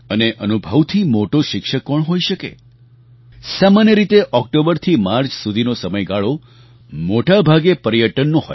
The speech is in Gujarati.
અને અનુભવથી મોટો શિક્ષક કોણ હોઈ શકે સામાન્ય રીતે ઑક્ટોબરથી માર્ચ સુધીનો સમયગાળો મોટા ભાગે પર્યટનનો